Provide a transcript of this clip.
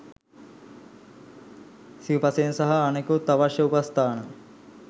සිවුපසයෙන් සහ අනෙකුත් අවශ්‍ය උපස්ථාන